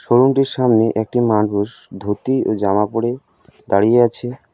শোরুমটির সামনে একটি মানুষ ধুতি ও জামা পড়ে দাঁড়িয়ে আছে।